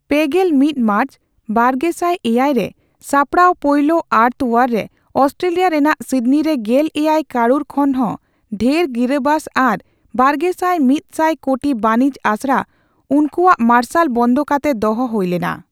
ᱯᱮᱜᱮᱞ ᱢᱤᱛ ᱢᱟᱨᱪ, ᱵᱟᱨᱜᱮᱥᱟᱭ ᱮᱭᱟᱭ ᱼᱨᱮ ᱥᱟᱯᱲᱟᱣ ᱯᱳᱭᱞᱳ ᱟᱨᱛᱷᱚ ᱟᱣᱟᱨ ᱨᱮ ᱚᱥᱴᱨᱮᱞᱤᱭᱟ ᱨᱮᱱᱟᱜ ᱥᱤᱰᱱᱤᱨᱮ ᱜᱮᱞ ᱮᱭᱟᱭ ᱠᱟᱹᱨᱩᱲ ᱠᱷᱚᱱᱦᱚᱸ ᱰᱷᱮᱨ ᱜᱤᱨᱟᱵᱟᱥ ᱟᱨ ᱵᱟᱨᱜᱮᱥᱟᱭ ᱢᱤᱛ ᱥᱟᱭ ᱠᱳᱴᱤ ᱵᱟᱹᱱᱤᱡᱽ ᱟᱥᱲᱟ ᱩᱱᱠᱩᱶᱟᱜ ᱢᱟᱨᱥᱟᱞ ᱵᱚᱱᱫᱚ ᱠᱟᱛᱮ ᱫᱚᱦᱚ ᱦᱩᱭᱞᱮᱱᱟ ᱾